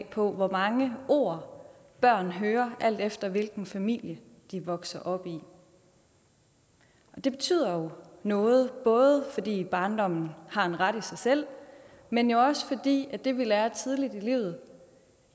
på hvor mange ord børn hører alt efter hvilken familie de vokser op i det betyder jo noget både fordi barndommen har en ret i sig selv men jo også fordi det vi lærer tidligt i livet